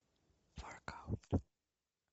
воркаут